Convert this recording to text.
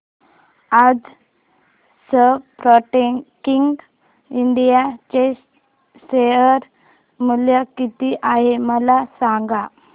आज Sportking India चे share मूल्य किती आहे मला सांगा